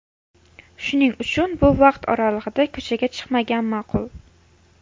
Shuning uchun bu vaqt oralig‘ida ko‘chaga chiqmagan ma’qul.